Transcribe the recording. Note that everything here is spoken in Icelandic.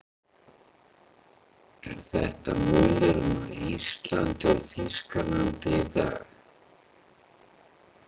Er þetta munurinn á Íslandi og Þýskalandi í dag?